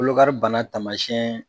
Kolokari bana taamasiyɛn